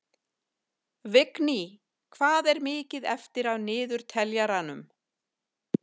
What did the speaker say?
Vigný, hvað er mikið eftir af niðurteljaranum?